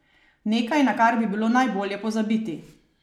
Nekaj, na kar bi bilo najbolje pozabiti.